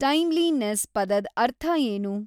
timeliness ಪದದ್‌ ಅರ್ಥ ಏನು